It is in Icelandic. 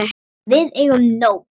Við eigum nóg.